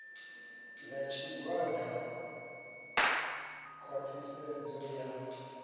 ya tshigwada khwa ṱhisedzo ya